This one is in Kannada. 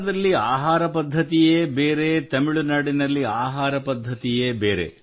ಬಿಹಾರದಲ್ಲಿ ಆಹಾರ ಪದ್ಧತಿಯೇ ಬೇರೆ ಮತ್ತು ತಮಿಳುನಾಡಿನಲ್ಲಿ ಆಹಾರ ಪದ್ಧತಿಯೇ ಬೇರೆ